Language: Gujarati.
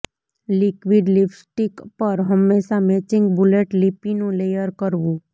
લિક્વિડ લિપ્સ્ટીક પર હંમેશાં મેચિંગ બુલેટ લિપીનું લેયર કરવું